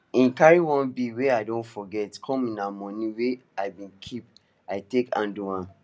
he carry one bill wey i don forget comena money wey i been keep i take handle am